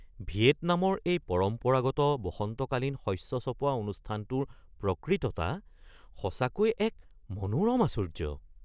ভিয়েটনামৰ এই পৰম্পৰাগত বসন্তকালীন শস্য চপোৱা অনুষ্ঠানটোৰ প্ৰকৃততা সঁচাকৈ এক মনোৰম আশ্চৰ্য্য।